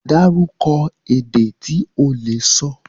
Dárúkọ ède tí o le sọ.